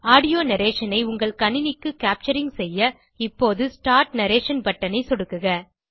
audio narration ஐ உங்கள் கணினிக்கு கேப்சரிங் செய்ய இப்போது ஸ்டார்ட் நரேஷன் பட்டன் ஐ சொடுக்குக